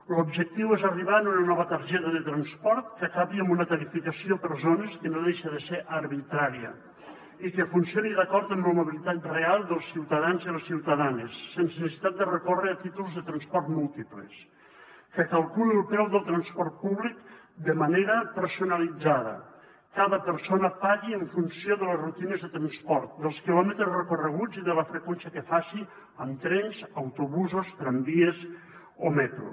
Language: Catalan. l’objectiu és arribar a una nova targeta de transport que acabi amb una tarifació per zones que no deixa de ser arbitrària i que funcioni d’acord amb la mobilitat real dels ciutadans i les ciutadanes sense necessitat de recórrer a títols de transport múltiples que calculi el preu del transport públic de manera personalitzada cada persona pagui en funció de les rutines de transport dels quilòmetres recorreguts i de la freqüència que faci amb trens autobusos tramvies o metro